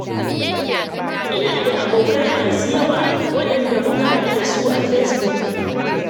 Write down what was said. Ina da abokai masu yawa, waɗanda muka haɗu da su a fesbuk.